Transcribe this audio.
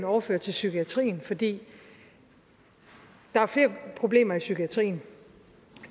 overføre til psykiatrien fordi der er flere problemer i psykiatrien